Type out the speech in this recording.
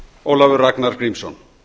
ólafur ragnar grímsson